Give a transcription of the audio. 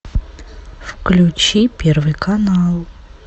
включи первый канал